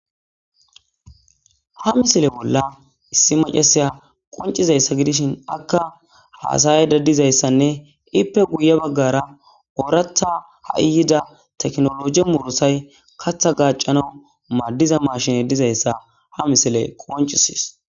ha misile bolla issi macasiya qoncizayssa gidishin akka haasayayda dizayssanne ippe guye baggara ooratha ha7iyida teknologe murusay katha gacana maaddiza mashine dizayssa ha misile qoncisis